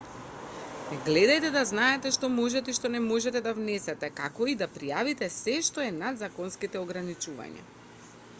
гледајте да знаете што можете и што не можете да внесете како и да пријавите сѐ што е над законските ограничувања